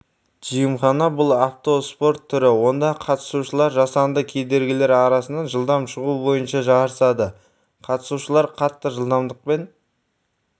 джимхана бұл автоспорт түрі онда қатысушылар жасанды кедергілер арасынан жылдам шығу бойынша жарысады қатысушылар қатты жылдамдықпен